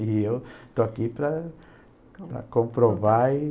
E eu estou aqui para para comprovar. E